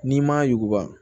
N'i m'a yuguba